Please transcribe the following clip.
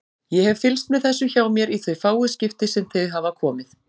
Ég hef fylgst með þessu hjá mér í þau fáu skipti sem þau hafa komið.